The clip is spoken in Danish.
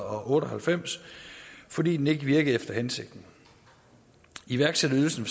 og halvfems fordi den ikke virkede efter hensigten iværksætterydelsen